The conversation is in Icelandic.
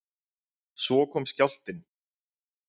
Svo kom skjálftinn.